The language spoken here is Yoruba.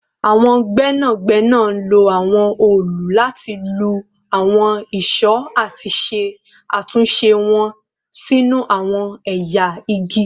Awọn gbẹnagbẹna lo awọn òòlù lati lu awọn ìṣó ati ṣe atunṣe wọn sinu awọn ẹya igi